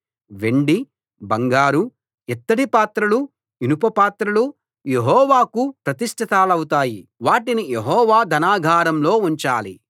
వెండి బంగారు ఇత్తడి పాత్రలు ఇనుప పాత్రలు యెహోవాకు ప్రతిష్ఠితాలవుతాయి వాటిని యెహోవా ధనాగారంలో ఉంచాలి